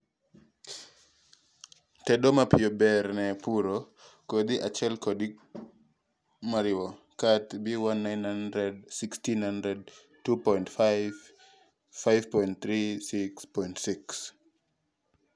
tedo mapiyo ber ne puro kodhi achiel kod kodhi moriwo. Kat B1 900 1600 2.5 5.36.6